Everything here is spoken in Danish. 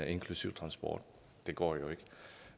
inklusive transport det går jo ikke